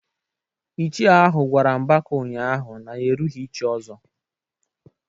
Ichie ahu gwara Mbaka ụnyahụ na ya erughị ị chi Ozo.